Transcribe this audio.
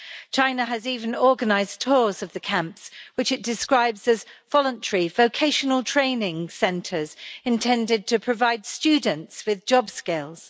China has even organised tours of the camps, which it describes as voluntary vocational training centres intended to provide students with job skills.